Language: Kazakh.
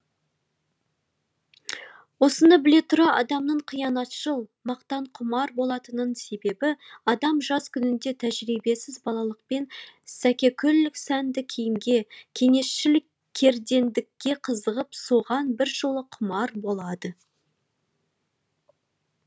осыны біле тұра адамның қиянатшыл мақтанқұмар болатынының себебі адам жас күнінде тәжірибесіз балалықпен сәкекүл сәнді киімге кеңесшіл кердеңдікке қызығып соған біржола құмар болады